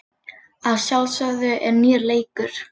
Að sjálfsögðu er nýr leikur.